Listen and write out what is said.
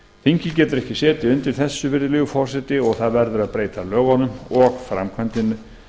þingið getur ekki setið undir þessu virðulegi forseti og það verður að breyta lögunum og framkvæmdinni